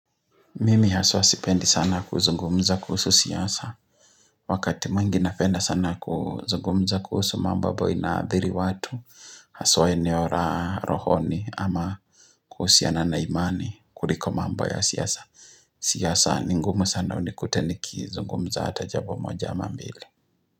Mimi haswa sipendi sana kuzungumza kuhusu siasa Wakati mwingi napenda sana kuzungumza kuhusu mambo ambapo inaathiri watu Haswa enero ra rohoni ama kuhusiana na imani kuliko mambo ya siasa siasa ni ngumu sana unikute niki zungumza hata jambo moja ama mbili.